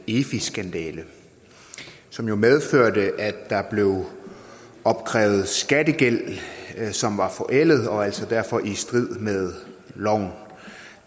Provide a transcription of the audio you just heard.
efi skandale som jo medførte at der blev opkrævet skattegæld som var forældet og altså derfor i strid med loven